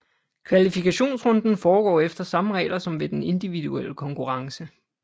Kvalifikationsrunden foregår efter samme regler som ved den individuelle konkurrence